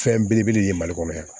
Fɛn belebele de ye mali kɔnɔ yan